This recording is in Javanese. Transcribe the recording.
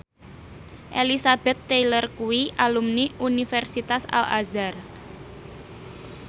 Elizabeth Taylor kuwi alumni Universitas Al Azhar